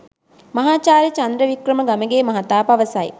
මහාචාර්ය චන්ද්‍ර වික්‍රම ගමගේ මහතා පවසයි.